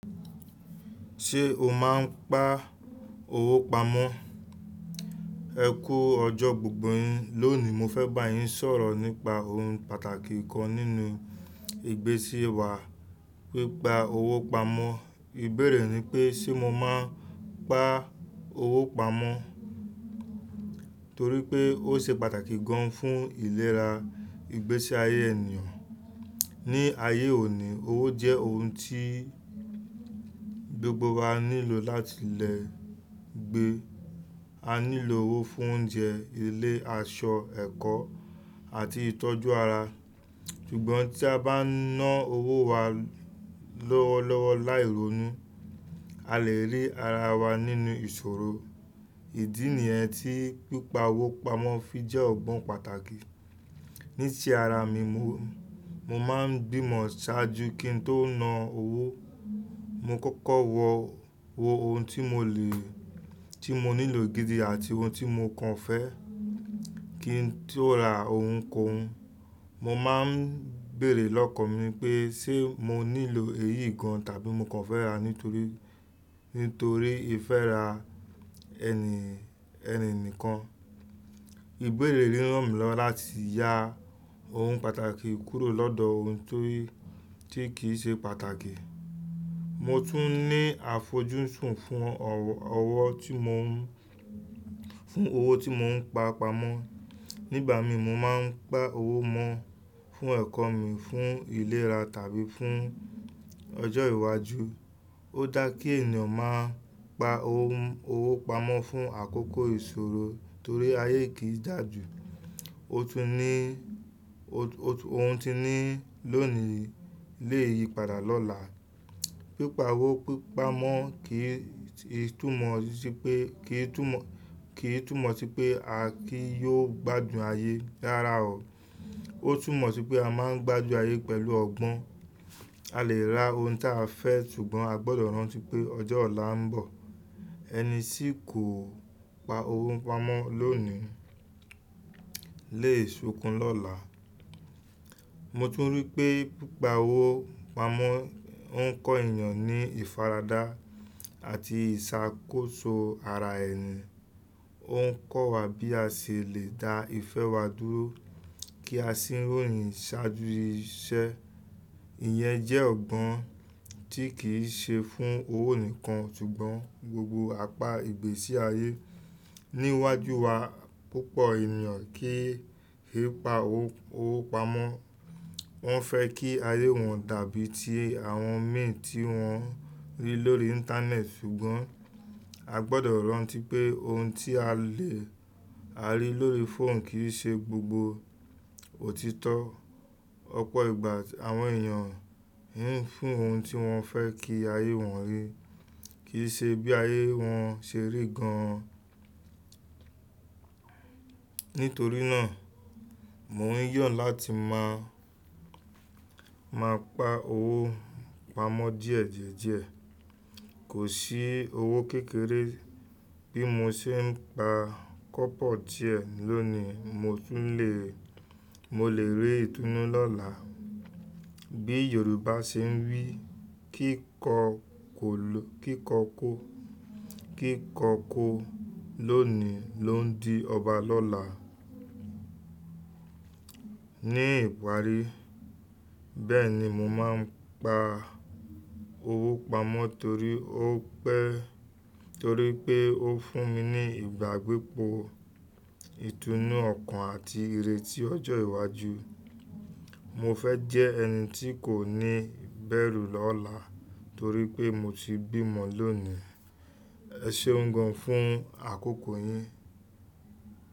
Ṣé o máa ń pa owó pamọ́? Ẹ kú ọjọ́ gbogbo yín, lónìí mo fẹ́ bá yín sọ̀rọ̀ nípa ohun pàtàkì kan nínú ìgbésí wa, pípa owó pamọ́. Ìbéèrè ni pé ṣe mo máa ń pa owó pamọ́? Torí pé ó ṣe pàtàkì gan fún ìlera ìgbésí ayé ènìyàn. Ní ayé òní, owó jẹ́ ohun tí gbogbo wa nílò láti le gbé. A nílò owó fún oúnjẹ, ilé, aṣọ, ẹ̀kọ́ àti ìtọ́jú ara. Ṣùgbọ́n tí a bá na owó wa lọ́wọ́lọ́wọ́ láì rónú, a lè rí ara wa nínú ìṣoro. Ìdí nì yẹn tí pípa owó pamọ́ fi jẹ́ òun pàtàkì. Ní tí ara mi, mo, mo máa ń bímó ṣáájú kí n tó na owó. Mo kókó wọ, wo ohun tí mo le, tí mo nílò gidi àti ohun tí mo kàn fẹ́ kí n tó ra ohun kóhun Mo máa ń béèrè lọ́kàn mi pé ṣe mo nílò èyí gan tàbí mo kàn fẹ́ rà á nítorí, nítorí ìfẹ́ ra ẹni, ẹni nìkan. Ìbéèrè ríran mi lọ láti ya ohun pàtàkì kúrò lọ́dọ̀ ohun torí tí kì í ṣe pàtàkì. Mo tún ní àfojúsùn fún ọwọ, ọwọ tí mo ń, fún owó tí mo ń pa pamọ́. Nígbà mi mo máa ń pa owó mọ́ fún ẹ̀kọ́ mi, fún ìlera tàbí fún ọjọ́ iwájú. Ó dá kí ènìyàn máa pa ohun, owó pamọ́ fún àkókò ìṣòro torí ayé kì í dà ju. O tún ní, ohun tí ní lónìí lè yí padà lọ́la. Pípa owó pípa mọ́ kì í, kì í tú mọ̀ sí pé, kì í tú mọ̀, kì í tú mọ̀ sí pé a kì yóò gbádùn ayé rárá o. Ó tú mọ̀ sí pé a máa ń gbádùn ayé pẹ̀lú ọgbọ́n. A lè ra ohun táa fẹ́ ṣùgbọ́n a gbọdọ̀ rántí pé ọjọ́ ọ̀la ń bọ̀. Ẹni tí kò pa owó pamọ́ lónìí lè sunkún lọ́la. Mo tún rí pé pípa owó pamọ́ ń kọ ènìyàn ní ìfaradá àti ìṣàkóso ara ẹni. Ó ń kọ́ wa bí a ṣe lè da ìfẹ́ wa dúró kí a sì ròyìn ṣáájú iṣẹ́. Ìyẹn jẹ́ ọgbọ́n tí kì í ṣe fún owó nìkan ṣùgbọ́n gbogbo apá ìgbésí ayé. Níwájú wa, púpọ̀ ènìyàn kì í pa owó, owó pamọ́. Wọ́n fẹ́ kí ayé wọn dàbí i ti àwọn mi tí wọ́n rí lórí Íńtánẹ́ẹ̀tì ṣùgbọ́n a gbọdọ̀ rántí pé ohun tí a lè, a rí lórí fóònù kì í ṣe gbogbo òtítọ́. Ọ̀pọ̀ ìgbà àwọn ènìyàn ń fún ohun tí wọ́n fẹ́ kí ayé wọn rí kì í ṣe bí ayé wọn ṣe rí gan. Nítorí náà mò ń yọ̀ láti má, má pa owó pamọ́ díẹ̀ díẹ̀ díẹ̀. Kò sí owó kékeré bí mo ṣe ń pa kọ́ pọ̀ díẹ̀ lónìí mo tún le, mo lè rí ìtúnú lọ́la. Bí Yorùbá ṣe ń wí "kíkọ kò lo, kíkọ kọ́, kíkọ kọ́ lónìí ló ń di ọba lọ́la". Ní ìparí, bẹ́ẹ̀ ni mo máa ń pa owó pamọ́ torí ó pẹ́, torí pé ó fún mi ní ìgbàgbépọ̀, ìtúnú ọkàn àti ìrètí ọjọ́ iwájú. Mo fẹ́ jẹ́ ẹni tí kò ní bẹ̀rù lọ́la torí pé mo ti bímọ lónìí. Ẹ ṣeun gan fún àkókò yín.